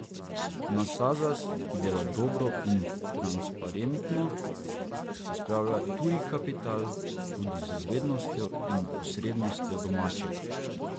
Na Sazas, ki dela dobro in transparentno, se spravlja tuji kapital, tudi z vednostjo in posrednostjo domačega.